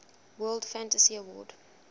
world fantasy award